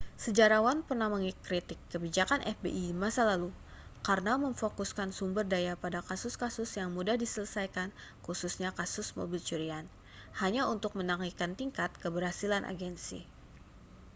sejarawan pernah mengkritik kebijakan fbi di masa lalu karena memfokuskan sumber daya pada kasus-kasus yang mudah diselesaikan khususnya kasus mobil curian hanya untuk menaikkan tingkat keberhasilan agensi